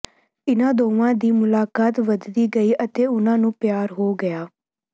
ਇਨ੍ਹਾਂ ਦੋਵਾਂ ਦੀ ਮੁਲਾਕਾਤ ਵਧਦੀ ਗਈ ਅਤੇ ਉਨ੍ਹਾਂ ਨੂੰ ਪਿਆਰ ਹੋ ਗਿਆ